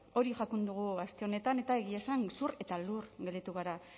hori jakin dugu aste honetan eta egia esan zur eta lur gelditu gara